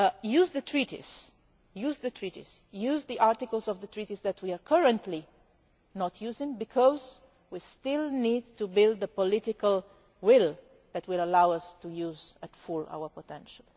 Use the treaties, use the articles of the treaties that we are currently not using because we still need to build the political will that will allow us to use our full potential.